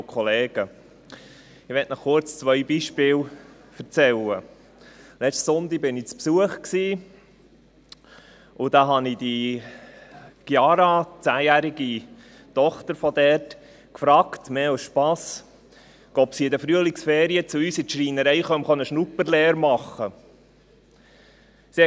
Ich habe die zehnjährige Chiara, die Tochter der Familie, mehr zum Spass gefragt, ob sie in den Frühlingsferien bei uns in der Schreinerei eine Schnupperlehre machen wolle.